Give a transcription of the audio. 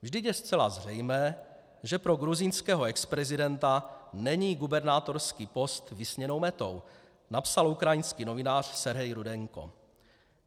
Vždyť je zcela zřejmé, že pro gruzínského exprezidenta není gubernátorský post vysněnou metou, napsal ukrajinský novinář Sergej Rudenko.